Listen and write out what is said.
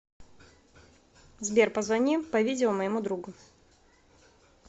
сбер позвони по видео моему другу